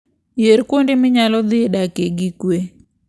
Yier kuonde ma inyalo dhi dakie gi kuwe.